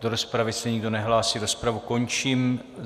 Do rozpravy se nikdo nehlásí, rozpravu končím.